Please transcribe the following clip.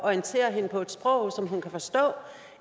orientere hende på et sprog som hun kan forstå